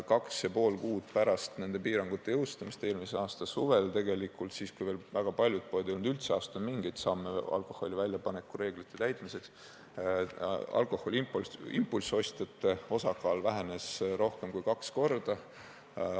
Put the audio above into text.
Kaks ja pool kuud pärast nende piirangute jõustumist, eelmise aasta suvel tegelikult – siis, kui veel väga paljud poed ei olnud üldse astunud mingeid samme alkoholi väljapaneku reeglite täitmiseks – alkoholi impulssostjate osakaal vähenes rohkem kui kaks korda.